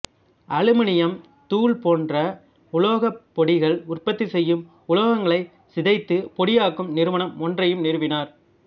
aluminium தூள் போன்ற உலோகப் பொடிகள் உற்பத்தி செய்யும் உலோகங்களைச் சிதைத்து பொடியாக்கும் நிறுவனம் ஒன்றையும் நிறுவினார்